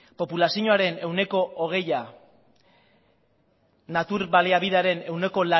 populazioaren ehuneko hogei natur baliabidearen ehuneko